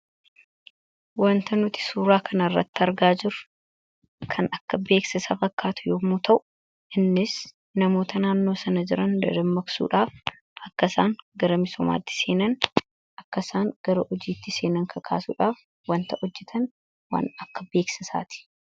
Wanta nuti suuraa kanarratti argaa jiru kan akka beeksasa fakkaatu yoommuu ta'u innis namoota naannoo sana jiran dadammaksuudhaaf akkasaan gara misomaatti seenan akkasaan gara hojiitti seenan kakaasuudhaaf wanta ojjetan waan akka beeksasaati.